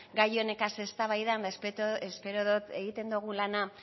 gai honegaz eztabaidan eta espero dut egiten dugun lana